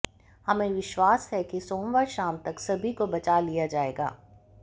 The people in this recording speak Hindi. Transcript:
हमें विश्वास है कि सोमवार शाम तक सभी को बचा लिया जाएगा